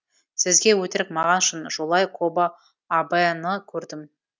сізге өтірік маған шын жолай кобо абэны көрдім